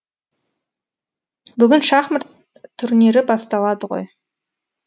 бүгін шахмат турнирі басталады ғой